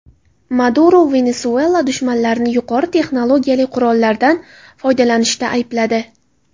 Maduro Venesuela dushmanlarini yuqori texnologiyali qurollardan foydalanishda aybladi.